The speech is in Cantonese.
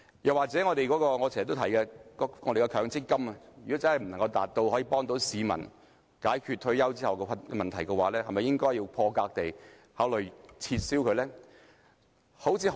又或是我經常提及的強積金，如果無法保障市民退休後的生活，是否應該破格地考慮將之撤銷呢？